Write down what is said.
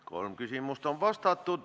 Kolm küsimust on vastatud.